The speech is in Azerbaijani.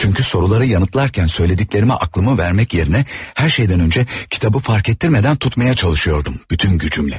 Çünki soruları yanıtla yəni, yanıtlayarkən dediklərimi ağlıma vermək yerinə hər şeydən öncə kitabı fərk etdirmədən tutmaya çalışıyordum bütün gücümlə.